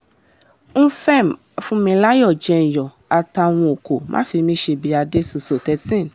nfm fúnmilayọ̀ jẹ́ńyọ́ àtàúnọkọ̀ máfímíṣẹ́bì adétutù thirteen